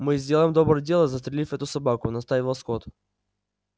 мы сделаем доброе дело застрелив эту собаку настаивал скотт